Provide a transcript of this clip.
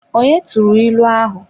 Onye turu ilu ahu?